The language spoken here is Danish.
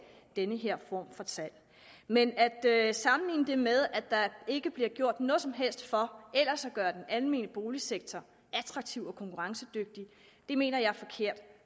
den her form for salg men at sige at der ellers ikke bliver gjort noget som helst for at gøre den almene boligsektor attraktiv og konkurrencedygtig mener jeg er forkert